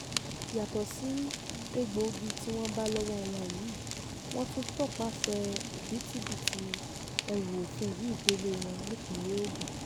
yàtọ̀ sí egbòogi tí wọ́n bá lọ́wọ́ wọn yìí wọ́n tún tọpasẹ̀ òbítíbitì ẹrù òfin yìí délé wọn nípìnlẹ̀ ogun